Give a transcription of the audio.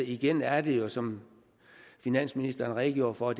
igen er det jo som finansministeren redegjorde for